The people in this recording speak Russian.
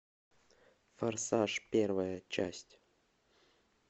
форсаж первая часть